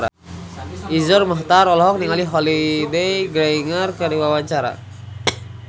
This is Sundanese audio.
Iszur Muchtar olohok ningali Holliday Grainger keur diwawancara